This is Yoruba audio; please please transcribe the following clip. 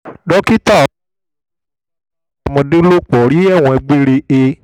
dókítà ọlálèyé tó fipá bá ọmọdé lòpọ̀ rí ẹ̀wọ̀n gbére he